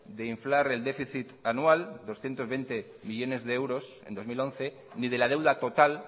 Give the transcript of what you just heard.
de inflar el déficit anual doscientos veinte millónes de euros en dos mil once ni de la deuda total